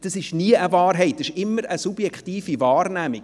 Es ist niemals eine Wahrheit, sondern immer eine subjektive Wahrnehmung.